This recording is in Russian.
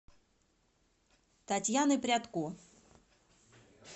татьяны прядко